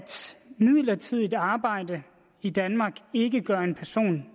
midlertidigt arbejde i danmark ikke gør en person